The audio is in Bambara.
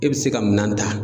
E be se ka minan ta